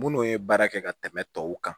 Munnu ye baara kɛ ka tɛmɛ tɔw kan